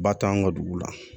Ba t'anw ka dugu la